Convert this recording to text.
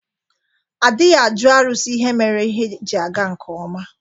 Adịghị ajụ arụsi ihe mere ihe ji aga nkeọma.